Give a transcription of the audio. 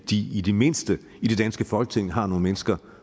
de i det mindste i det danske folketing har nogle mennesker